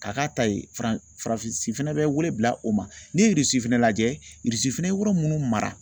Ka k'a ta ye Faran Faransi fɛnɛ bɛ wele bila o ma , ne ye Irisi fɛnɛ lajɛ Irisi fɛnɛ ye yɔrɔ munnu mara